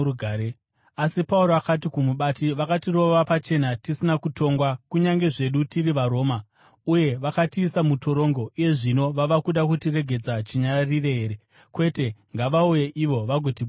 Asi Pauro akati kumubati, “Vakatirova pachena tisina kutongwa, kunyange zvedu tiri vaRoma, uye vakatiisa mutorongo. Uye zvino vava kuda kutiregedza chinyararire here? Kwete! Ngavauye ivo vagotibudisa.”